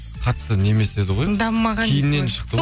қатты не емес еді ғой дамымаған кейіннен шықты ғой